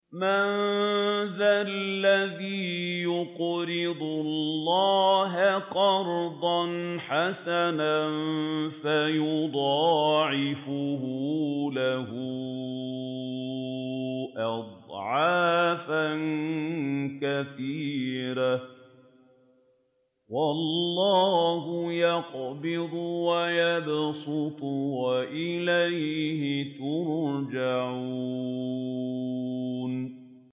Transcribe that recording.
مَّن ذَا الَّذِي يُقْرِضُ اللَّهَ قَرْضًا حَسَنًا فَيُضَاعِفَهُ لَهُ أَضْعَافًا كَثِيرَةً ۚ وَاللَّهُ يَقْبِضُ وَيَبْسُطُ وَإِلَيْهِ تُرْجَعُونَ